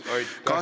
Veel kord aitäh!